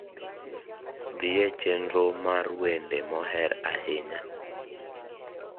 dhie chenro mar wende moher ahinya